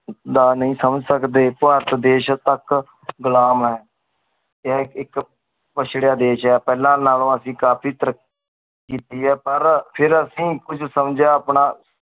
ਦਾ ਨੀ ਸਮਜ ਸਕਦੀ ਭਾਰਤ ਦੇਸ਼ ਤਕ ਘੁਲਮ ਆਯ ਇਯਨ ਏਕ ਏਕ ਦੇਸ਼ ਆਯ ਫਲਾ ਨਾਮ ਅਸੀਂ ਕਾਫੀ ਤਰੀਕਿ ਆਯ ਪਰ ਫੇਰ ਅਸੀਂ ਕੁਛ ਸਮ੍ਜੇਯਾ ਆਪਣਾ